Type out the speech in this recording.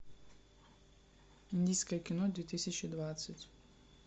индийское кино две тысячи двадцать